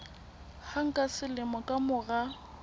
hang ka selemo ka mora